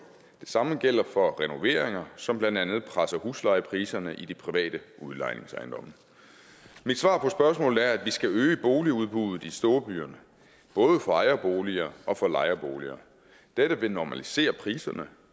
det samme gælder for renoveringer som presser blandt andet huslejepriserne i de private udlejningsejendomme mit svar på spørgsmålet er at vi skal øge boligudbuddet i storbyerne både for ejerboliger og for lejeboliger dette vil normalisere priserne